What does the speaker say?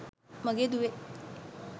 මගේ දුවේ.